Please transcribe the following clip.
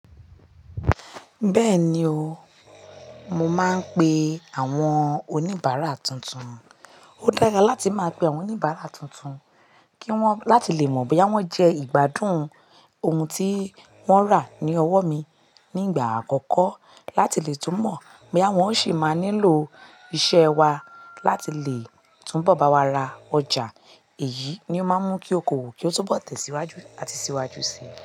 Bẹ́ẹ̀ni o, mo máa ń pe àwọn oníbàárà tuntun. Ó dára láti máa pe àwọn oníbàárà tuntun kí wọ́n láti lè mọ̀ bóyá wọ́n jẹ ìgbádùn ohun tí wọ́n rà ní ọwọ́ mi nígbà àkọ́kọ́ láti lè tún mọ̀ bóyá wọ́n ó sì máa nílò iṣẹ́ wa láti lè tún bọ̀ bá wa ra ọjà. Èyí ni ó máa ń mú kí ókoòwò kí ó tún bọ̀ tẹ̀síwájú àti síwájú si.